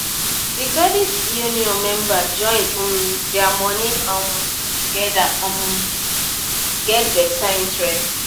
the credit union members join um their money um together to um get better interest